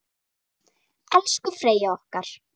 Elsku Freyja okkar.